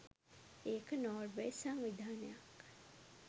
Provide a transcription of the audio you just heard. ඒක නෝර්වේ සංවිධානයක්